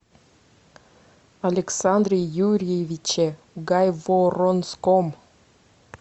александре юрьевиче гайворонском